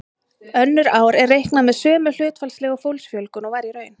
Önnur ár er reiknað með sömu hlutfallslegu fólksfjölgun og var í raun.